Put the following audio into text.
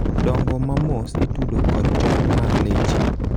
dongo ma mos itudo kod jony mar leche